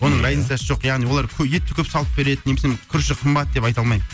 оның разницасы жоқ яғни олар етті көп салып береді немесе күріші қымбат деп айта алмаймын